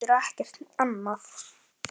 Getur ekkert annað.